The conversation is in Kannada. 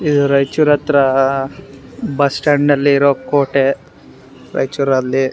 ಇದು ರಾಯಿಚೂರ್ ಹತ್ರ ಬಸ್ ಸ್ಟ್ಯಾಂಡಲ್ಲಿ ಇರೋ ಕೋಟೆ ರಾಯಿಚೂರಲ್ಲಿ.